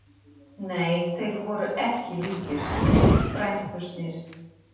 Nei, þeir voru ekki líkir, frændurnir.